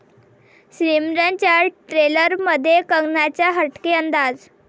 सिमरन'च्या ट्रेलरमध्ये कंगनाचा हटके अंदाज